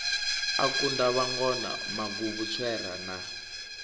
a kunda vhangona maguvhutswera na